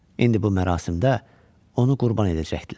İndi bu mərasimdə onu qurban edəcəkdilər.